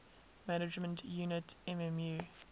management unit mmu